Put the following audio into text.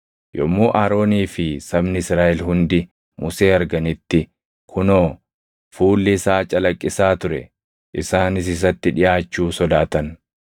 Yommuu Aroonii fi sabni Israaʼel hundi Musee arganitti kunoo, fuulli isaa calaqqisaa ture; isaanis isatti dhiʼaachuu sodaatan.